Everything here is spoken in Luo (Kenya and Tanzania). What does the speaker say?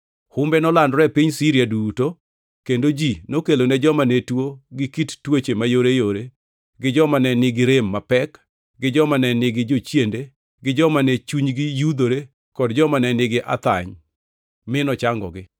Humbe nolandore e piny Siria duto, kendo ji nokelone joma ne tuo gi kit tuoche mayoreyore gi joma ne nigi rem mapek gi joma ne nigi jochiende gi joma ne chunygi yudhore kod joma ne nigi athany, mi nochangogi.